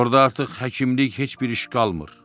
Orda artıq həkimlik heç bir iş qalmır.